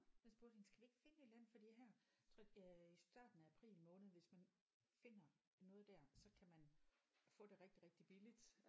Jeg spurgte hende skal vi ikke finde et eller andet fordi her jeg tror øh i starten af april måned hvis man finder noget der så kan man få det rigtig rigtig billigt